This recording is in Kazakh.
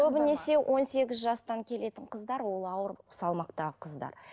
көбінесе он сегіз жастан келетін қыздар ол ауыр салмақтағы қыздар